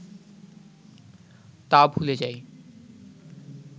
তা ভুলে যায়